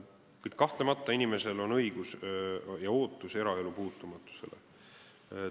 Kuid kahtlemata on inimesel õigus eraelu puutumatusele ja sellekohane ootus.